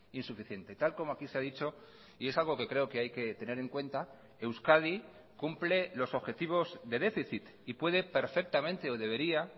insuficiente tal como aquí se ha dicho y es algo que creo que hay que tener en cuenta euskadi cumple los objetivos de déficit y puede perfectamente o debería